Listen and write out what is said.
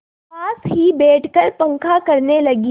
पास ही बैठकर पंखा करने लगी